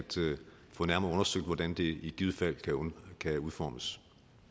få nærmere undersøgt hvordan det i givet fald kan kan udformes